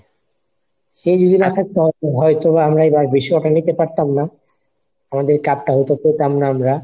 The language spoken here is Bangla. সে যদি না থাকতো হয়তো বা আমরা এবার আমরা বিশ্বকাপটা নিতে পারতাম না। আমাদের cup টা হতো পেতাম না আমরা।